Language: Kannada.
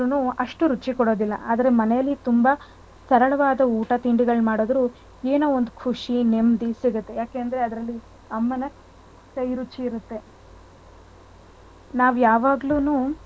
ತಿಂದ್ರುನು ಅಷ್ಟು ರುಚಿ ಕೊಡೋದಿಲ್ಲ. ಆದ್ರೆ ಮನೇಲಿ ತುಂಬ ಸರಳವಾದ ಊಟ ತಿಂಡಿಗಳ್ ಮಾಡುದ್ರು ಏನೋ ಒಂದ್ ಖುಷಿ ನೇಮ್ಮ್ಡಿ ಸಿಗುತ್ತೆ. ಯಾಕೇಂದ್ರೆ ಅಲ್ಲಿ ಅಮ್ಮನ ಕೈರುಚಿ ಇರುತ್ತೆ. ನಾವ್ ಯಾವಾಗ್ಲೂನು,